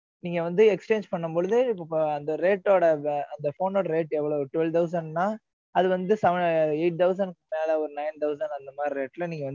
நீங்க வந்து, exchange பண்ணும் பொழுது, அந்த rate ஓட, அந்த phone ஓட rate எவ்வளவு? twelve thousand ன்னா, அது வந்து, seven, eight thousand க்கு மேலே, ஒரு nine thousand அந்த மாதிரி இருக்கு.